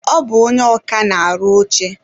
Ọ bụ ónyé ọkà na-arụ oche.